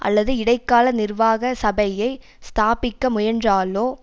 அல்லது இடைக்கால நிர்வாக சபையை ஸ்தாபிக்க முயன்றாலோ